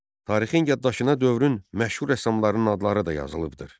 Tarixin yaddaşına dövrün məşhur rəssamlarının adları da yazılıbdır.